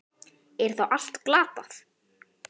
Er þá allt glatað?